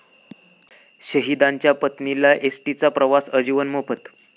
शहिदांच्या पत्नीला एसटीचा प्रवास आजीवन मोफत